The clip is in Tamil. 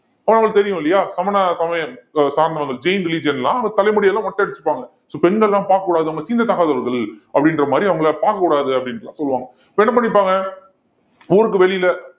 ஆனா உங்களுக்கு தெரியும் இல்லையா சமண சமயம் ஆஹ் சார்ந்தவர்கள் jain religion எல்லாம் அந்த தலைமுடி எல்லாம் மொட்டை அடிச்சுக்குவாங்க so பெண்கள் எல்லாம் பார்க்கக் கூடாது அவங்க தீண்டத்தகாதவர்கள் அப்படின்ற மாதிரி அவங்களை பார்க்கக் கூடாது அப்படின்னு எல்லாம் சொல்லுவாங்க இப்ப என்ன பண்ணிப்பாங்க ஊருக்கு வெளியில